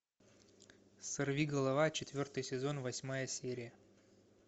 сорви голова четвертый сезон восьмая серия